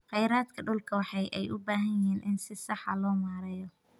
Khayraadka dhulka waxa ay u baahan yihiin in si sax ah loo maareeyo.